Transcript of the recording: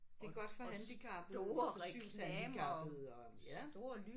Det er godt for handicappede for synshandicappede og ja